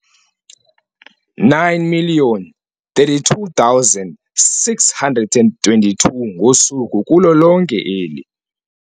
9 032 622 ngosuku kulo lonke eli.